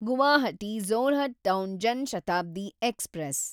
Guwahati Jorhat town Jan Shatabdi express